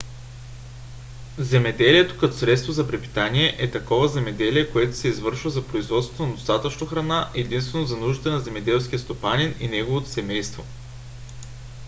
земеделието като средство за препитание е такова земеделие което се извършва за производството на достатъчно храна единствено за нуждите на земеделския стопанин и неговото семейство